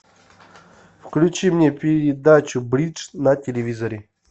включи мне передачу бридж на телевизоре